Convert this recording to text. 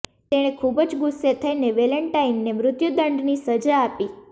તેણે ખૂબ જ ગુસ્સે થઇને વેલેન્ટાઇનને મૃત્યુદંડની સજા આપી